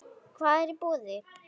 Hvað er í boði?